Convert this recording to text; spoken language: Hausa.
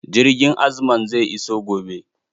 Jirgin azman zai iso gobe.